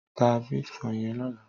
Tá bitkòin yèn lòlá